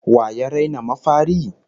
Wa ya raina mafari?